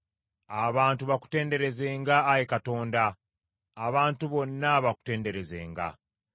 Abantu bakutenderezenga, Ayi Katonda, abantu bonna bakutenderezenga.